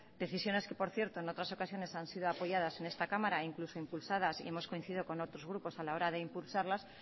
decisiones que por cierto en otras ocasiones han sido apoyadas en esta cámara e incluso impulsadas y hemos coincidido con otros grupos a la hora de impulsarlas